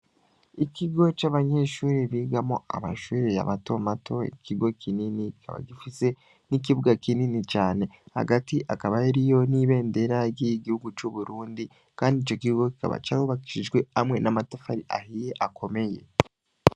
Ikigo c'abashure bigamwo amashure matomato ikigo kinini kikaba gifise n' ikibuga kinini cane hagati hakaba hariyo ibendera ry' igihugu c'uburundi kandi ico kigo kikaba curubakishijwe amatafari ahiye akomeye